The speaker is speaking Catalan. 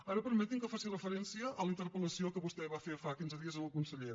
ara permeti’m que faci referència a la interpel·lació que vostè va fer fa quinze dies al conseller